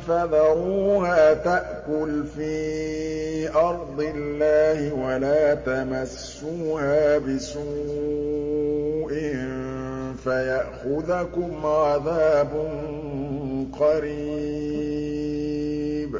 فَذَرُوهَا تَأْكُلْ فِي أَرْضِ اللَّهِ وَلَا تَمَسُّوهَا بِسُوءٍ فَيَأْخُذَكُمْ عَذَابٌ قَرِيبٌ